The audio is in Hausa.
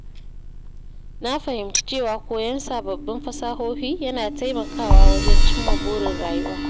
Na fahimci cewa koyon sababbin fasahohi yana taimakawa wajen cimma burin rayuwa.